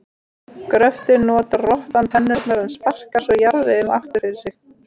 Við gröftinn notar rottan tennurnar en sparkar svo jarðveginum aftur fyrir sig.